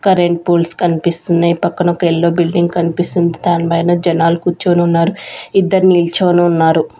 Current poles కన్పిస్తున్నాయ్ పక్కన ఒక ఎల్లో బిల్డింగ్ కన్పిస్తుంది దాని పైన జనాలు కూర్చొని ఉన్నారు ఇద్దరు నిల్చోని ఉన్నారు.